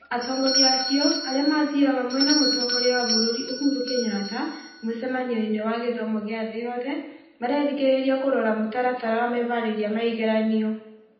Atongoria acio, arĩa mathiĩ hamwe na mũtongoria wa bũrũri Uhuru Kenyatta mũcemanio-inĩ wa gĩthomo gĩa thĩ yothe, marerĩgĩrĩria kũrora mũtaratara wa meharĩria ma igeranio.